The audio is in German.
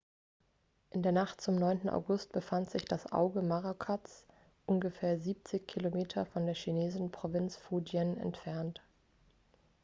in der nacht zum 9. august befand sich das auge morakots ungefähr siebzig kilometer von der chinesischen provinz fujian entfernt